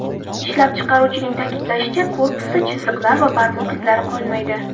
Ishlab chiqaruvchining ta’kidlashicha, korpusda chiziqlar va barmoq izlari qolmaydi.